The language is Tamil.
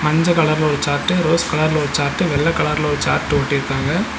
மஞ்ச கலர்ல ஒரு சார்ட்டு ரோஸ் கலர்ல ஒரு சார்ட்டு வெள்ள கலர்ல ஒரு சார்ட்டு ஒட்டிருக்காங்க.